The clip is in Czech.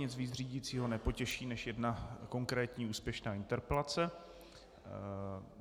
Nic víc řídícího nepotěší než jedna konkrétní úspěšná interpelace.